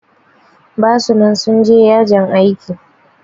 Basu nan sun je yajin aiki